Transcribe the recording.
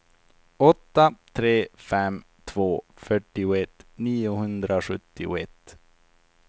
åtta tre fem två fyrtioett niohundrasjuttioett